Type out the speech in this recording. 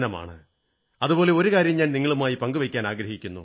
അതുപോലെ ഒരു കാര്യം ഞാൻ നിങ്ങളുമായി പങ്കുവയ്ക്കാനാഗ്രഹിക്കുന്നു